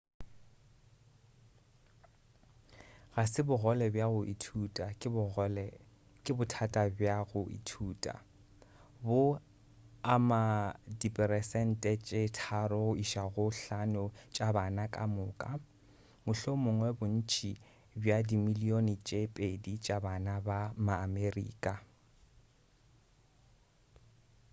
ga se bogole bja go ithuta ke bothata bja go ithuta bo ama diperesente tše 3 go iša go 5 tša bana ka moka mohlomongwa bontši bja dimilion tše 2 tša bana ba ma-amerika